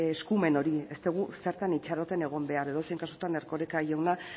eskumen hori ez dugu zertan itxaroten egon behar edozein kasutan erkoreka jauna